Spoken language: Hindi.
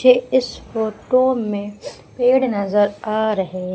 मुझे इस फोटो में पेड़ नजर आ रहे--